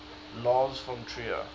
lars von trier